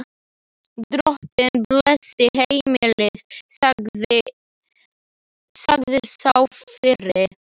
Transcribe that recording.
Drottinn blessi heimilið, sagði sá fyrri.